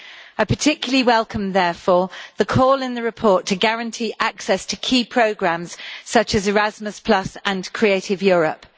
I particularly welcome, therefore, the call in the report to guarantee access to key programmes such as Erasmus Plus and Creative Europe.